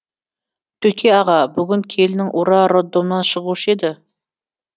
төке аға бүгін келінің ура роддомнан шығушы еді